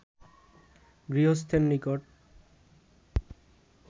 গৃহস্থের নিকট